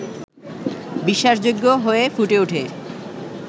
বিশ্বাসযোগ্য হয়ে ফুটে ওঠে